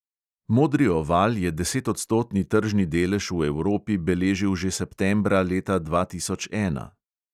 Modri oval je desetodstotni tržni delež v evropi beležil že septembra leta dva tisoč ena.